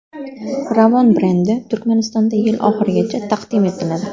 Ravon brendi Turkmanistonda yil oxirigacha taqdim etiladi .